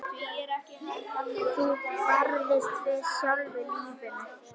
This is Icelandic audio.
Þú barðist fyrir sjálfu lífinu.